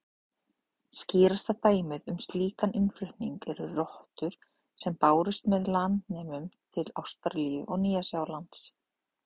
Skýrasta dæmið um slíkan innflutning eru rottur sem bárust með landnemum til Ástralíu og Nýja-Sjálands.